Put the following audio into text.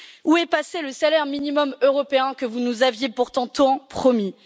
Où est passé le salaire minimum européen que vous nous aviez pourtant tant promis?